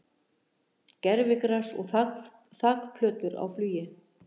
Gervigras og þakplötur á flugi